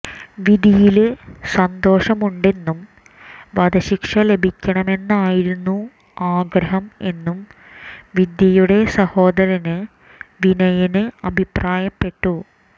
വിധിയില് സന്തോഷമുണ്ടെന്നും വധശിക്ഷ ലഭിക്കണമെന്നായിരുന്നു ആഗ്രഹം എന്നും വിദ്യയുടെ സഹോദരന് വിനയന് അഭിപ്രായപ്പെട്ടു